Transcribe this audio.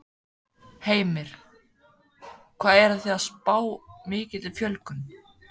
Heimir: Hvað eruð þið að spá mikilli fjölgun?